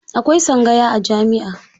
Akwai tsangaya a jami'a.